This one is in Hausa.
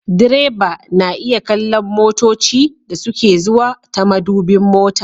Direba na iya kallon motoci da suke zuwa ta madubin mota